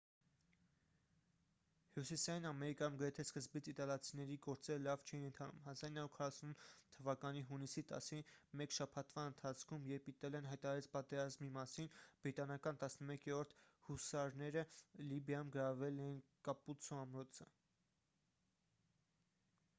հյուսիսային ամերիկայում գրեթե սկզբից իտալացիների գործերը լավ չէին ընթանում 1940 թվականի հունիսի 10-ին մեկ շաբաթվա ընթացքում երբ իտալիան հայտարարեց պատերազմի մասին բրիտանական 11-րդ հուսարները լիբիայում գրավել էին կապուցցո ամրոցը